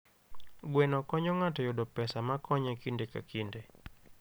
Gweno konyo ng'ato yudo pesa makonye kinde ka kinde.